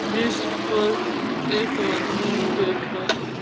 जिस पर एक आदमी बैठा है।